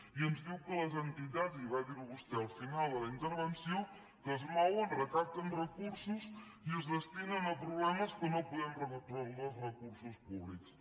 i ens diu que les entitats i va dir·ho vostè al final de la inter·venció que es mouen recapten recursos i es desti·nen a problemes que no podem resoldre els recursos públics